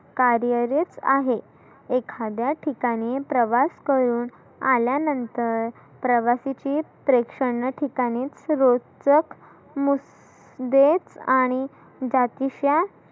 कार्यरीत आहे. एखाद्या ठिकाणी प्रवास करुन आल्या नंतर प्रवासाची प्रक्षाना ठिकाणी शिरो ट्रक मु देत आणि जातीशा